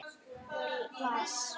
Ég las.